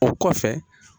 O kɔfɛ